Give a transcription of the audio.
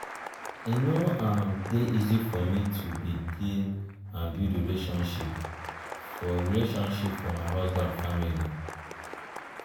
e no um dey easy for me to begin um build relationship for relationship for my husband family. um